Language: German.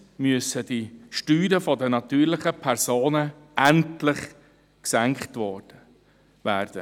Zweitens müssen die Steuern der natürlichen Personen endlich gesenkt werden.